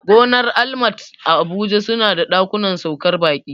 Gonar almat a abuja suna da ɗakunan saukar baƙi